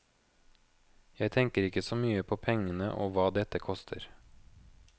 Jeg tenker ikke så mye på pengene og hva dette koster.